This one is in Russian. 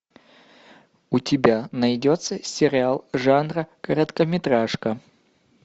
у тебя найдется сериал жанра короткометражка